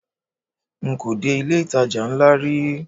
Nko dé ilé ìtajà ńlá rí.